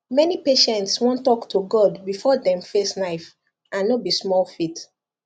many patients wan talk to god before dem face knife and no be small faith